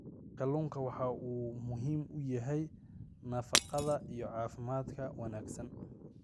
Kalluunku waxa uu muhiim u yahay nafaqada iyo caafimaadka wanaagsan.